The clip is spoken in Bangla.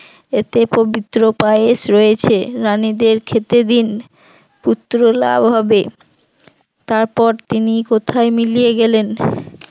এতে পবিত্র পায়েস রয়েছে রাণীদের খেতে দিন পুত্র লাভ হবে, তারপর তিনি কোথায় মিলিয়ে গেলেন